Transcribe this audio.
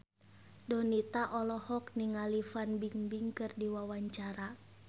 Donita olohok ningali Fan Bingbing keur diwawancara